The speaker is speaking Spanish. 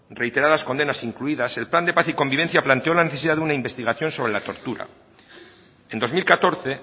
reiteradas condenas incluidas el plan de paz y convivencia planteó la necesidad de una investigación sobre la tortura en dos mil catorce